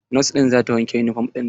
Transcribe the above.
Nos ɗin za ta wanke yunifom ɗin ta.